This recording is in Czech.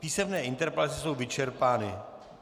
Písemné interpelace jsou vyčerpány.